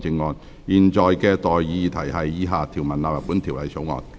我現在向各位提出的待議議題是：以下條文納入本條例草案。